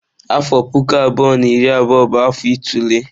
Afọ puku abụọ na iri abụọ bụ afọ itule.